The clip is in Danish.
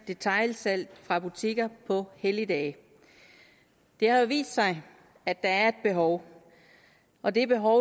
detailsalg fra butikker på helligdage det har jo vist sig at der er et behov og det behov